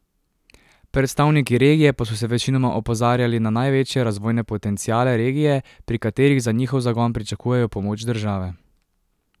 Predstavniki regije pa so večinoma opozarjali na največje razvojne potenciale regije, pri katerih za njihov zagon pričakujejo pomoč države.